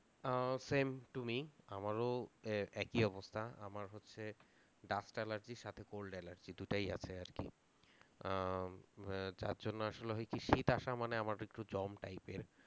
ah same to me আমার এ~ একই অবস্থা আমার হচ্ছে dust dust allergy র সাথে cold dust allergy দুটাই আছে আর কি আহ উম যার জন্য আসলে হয় কি শীত আসা মানে আমার একটু জম type এর